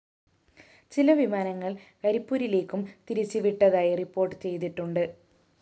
ചില വിമാനങ്ങള്‍ കരിപ്പൂരിലേക്കും തിരിച്ച് വിട്ടതായി റിപ്പോർട്ട്‌ ചെയ്തിട്ടുണ്ട്